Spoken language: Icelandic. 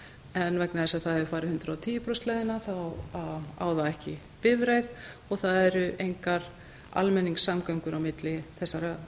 en vegna þess að það hefur farið hundrað og tíu prósenta leiðina á það ekki bifreið og það eru engar almenningssamgöngur á milli þessara